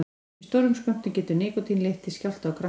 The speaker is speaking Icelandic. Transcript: Í stórum skömmtum getur nikótín leitt til skjálfta og krampa.